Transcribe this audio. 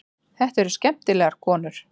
Þetta eru skemmtilegar konur.